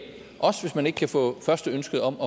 også hvis man ikke kan få førsteønsket om